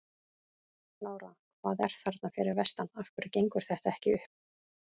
Lára: Hvað er að þarna fyrir vestan, af hverju gengur þetta ekki upp?